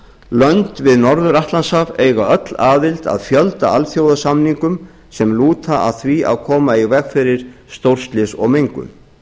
lönd við norður atlantshaf eiga öll aðild að fjölda alþjóðasamninga sem lúta að því að koma í veg fyrir stórslys og mengun